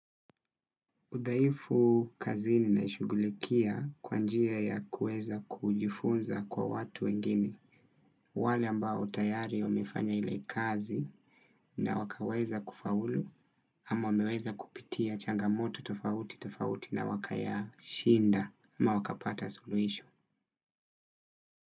Udhaifu kazini naishugulikia kwa njia ya kuweza kwa kujifunza kwa watu wengine. Wale ambao tayari wameifanya ile kazi na wakaweza kufaulu ama wameweza kupitia changamoto tofauti tofauti na wakayashinda ama wakapata sulihisho.